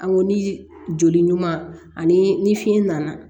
An ko ni joli ɲuman ani fiɲɛ nana